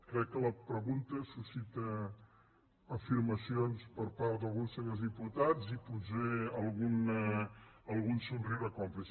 crec que la pregunta sus·cita afirmacions per part d’alguns senyors diputats i potser algun somriure còmplice